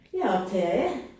Jeg er optager A